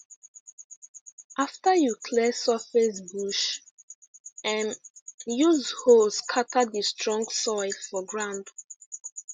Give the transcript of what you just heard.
after you clear surface bush um use hoe scatter the strong soil for ground